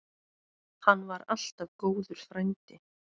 Hann var alltaf góður frændi.